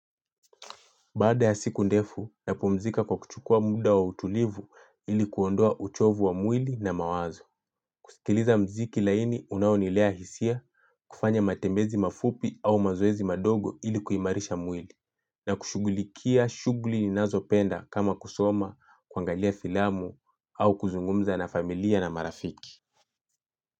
Baada ya siku ndefu, napumzika kwa kuchukua muda wa utulivu ilikuondoa uchovu wa mwili na mawazo. Kusikiliza mziki laini, unaonilea hisia, kufanya matembezi mafupi au mazoezi madogo ilikuimarisha mwili, na kushugulikia shugli ninazo penda kama kusoma, kuangalia filamu au kuzungumza na familia na marafiki.